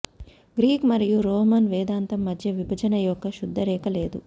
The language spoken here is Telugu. గ్రీక్ మరియు రోమన్ వేదాంతం మధ్య విభజన యొక్క శుద్ధ రేఖ లేదు